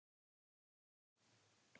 Ég get verið stolt hennar vegna.